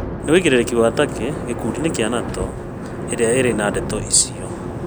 Nĩ wũigĩrĩrĩki wa Turkey gĩkundi inĩ kĩa NATO ĩrĩa ĩrĩ na ndeto icio